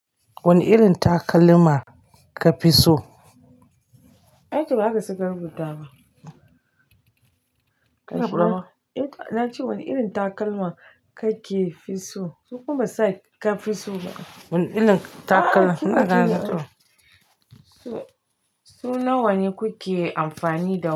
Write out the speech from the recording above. Wane irin takalma ka fi so? Ai ko ba haka suka rubuta ba. Eh na ce wane irin takalma kake fi so? Sun kuma sa ka fi so ma. Wane irin takalma naga na zo. Su nawane kuke amfani da wani?